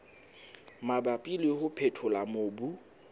mabapi le ho phethola mobu